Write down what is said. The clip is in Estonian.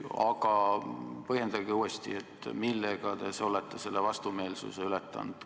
Aga põhjendage uuesti, millega te olete selle vastumeelsuse ületanud.